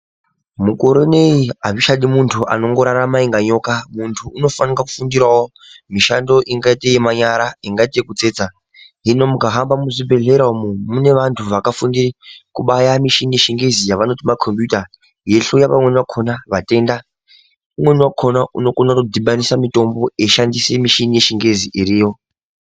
Mukore uneyi hazvichadi muntu anongorarama inga nyoka. Muntu unofanika kufundirawo mishando ingate yemanyara, ingate yekutsetsa. Hino mukahamba muzvibhedhlera umu mune vantu vakafunde kubaya mishini yeChiNgezi yavanoti makombiyuta, yeihloyiwa vamweni vakona, vatenda. Umweni wakona unokona kutodhibanisa mitombo, eishandise mishini yechingezi iriyo.